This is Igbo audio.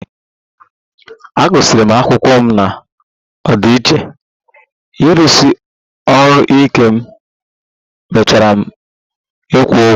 M gụsịrị akwụkwọ na ọdịiche, ịrụsi ọrụ ike m mechara kwụọ ụgwọ